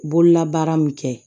Bololabaara min kɛ